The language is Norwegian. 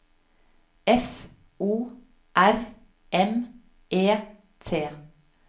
F O R M E T